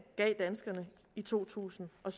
gav danskerne i totusinde og